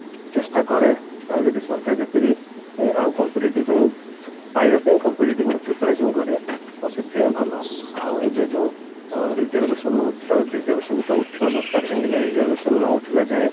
ଚେଷ୍ଟା କରେ ଆଉ ଯଦି ସରକାରୀ ଚାକିରି ଆଉ competitive ପାଇଁ ପାଇବା ପାଇଁ competitive ରେ preparation କରେ ତ ସେଥିପାଇଁ ଭଲ ହବ ଆଉ ଏବେ ଯଉ ଅ reservation ନଉଛି reservation ତ ଉଠିବା ଦରକାର କାହିଁକି ନା reservation ନ ଉଠିଲା ଯାଏଁ